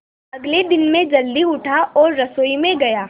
अगले दिन मैं जल्दी उठा और रसोई में गया